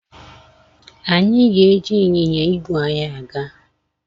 Anyị ga-eji ịnyịnya igwe anyị aga.